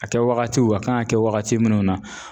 A kɛwagatiw a kan ka kɛ wagati minnu na